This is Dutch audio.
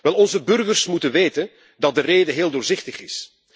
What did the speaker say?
Wel, onze burgers moeten weten dat de reden heel doorzichtig is.